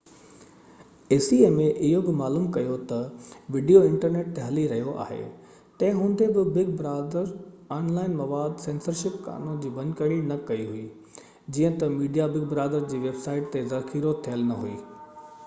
acma اهو بہ معلوم ڪيو تہ وڊيو انٽرنيٽ تي هلي رهيو آهي تنهن هوندي بہ بگ برادر آن لائن مواد سينسرشپ قانون جي ڀڃڪڙي نہ ڪئي هئي جيئن تہ ميڊيا بگ بردار جي ويب سائيٽ تي ذخيرو ٿيل نہ هئي